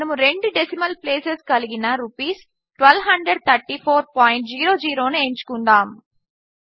మనము రెండు decimal places కలిగిన ర్స్123400 ను ఎంచుకుందాము